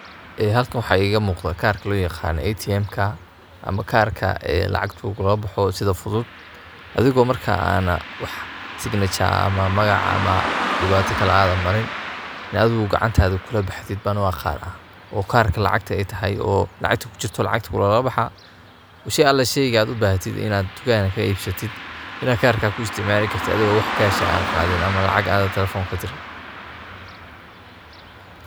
Ee halkan waxaa iga muqdaa karkaa loo yaqano etiemka ama karkaa ee lacagtu lugula booxo sii fudud adigoo marka ana wax signature ama magac ama dhibaata kale aadan marin dee adigu gacantaada kula baxdid ban u aqaanaa oo karka lacagta ay tahay oo lacagta kujirto lacagta lugula baxaa oo shey ala sheygaad ubahatid inad tukanka kaga ibsatid inad karka ku isticmaali kartid adigon wax kash ah an qaadin ama lacag aadan talefon kadirin.